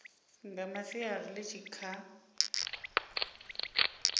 nga masiari ḽi tshi kha